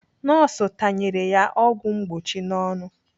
Nọọsụ tanyere ya ọgwụ mgbochi n'ọnụ.